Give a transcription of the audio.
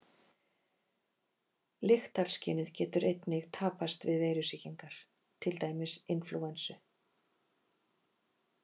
Lyktarskynið getur einnig tapast við veirusýkingar, til dæmis inflúensu.